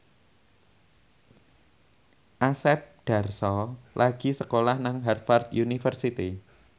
Asep Darso lagi sekolah nang Harvard university